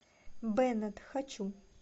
беннет хочу